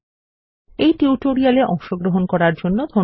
এই টিউটোরিয়ালে অংশগ্রহন করার জন্য ধন্যবাদ